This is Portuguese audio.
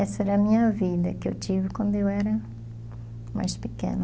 Essa era a minha vida que eu tive quando eu era mais pequena.